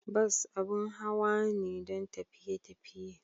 Bus abin hawa ne don tafiye tafiye.